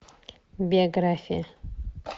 биография